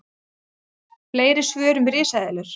Fleiri svör um risaeðlur: